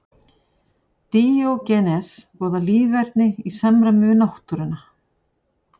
Díógenes boðaði líferni í samræmi við náttúruna.